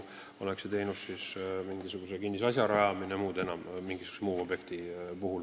Samamoodi käib teenuse eest maksmine mingisuguse kinnisasja rajamise või mõne muu objekti puhul.